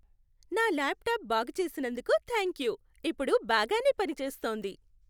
నా ల్యాప్టాప్ బాగుచేసినందుకు థాంక్యూ. ఇప్పుడు బాగానే పని చేస్తోంది.